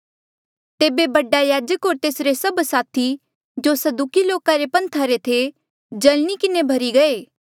तेबे बडा याजक होर तेसरे सभ साथी जो सदूकी लोका रे पन्था रे थे जल्नी किन्हें भर्ही गये